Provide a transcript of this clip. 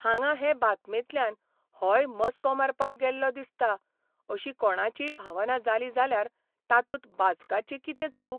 हांगां हे बातमेंतल्यान 'होय मस्को मारपाक गेल्लो दिसता 'अशी कोणाचीय भावना जाली जाल्यार तातूंत वाचकाची कितें चूक?